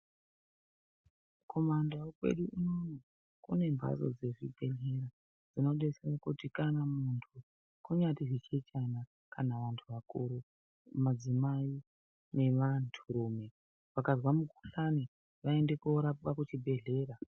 Kumandau kwedu unoono kunembatso dzezvibhedhlera dzinodetsera kuti kana muntu zvinyaari zvichechana kana vantu vakuru, madzimai nevanturume vakazwa mukuhlani vaende koorapwa kuchibhehlera.